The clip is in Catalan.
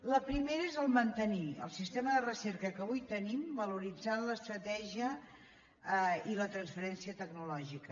la primera és mantenir el sistema de recerca que avui tenim valoritzant l’estratègia i la transferència tecno·lògica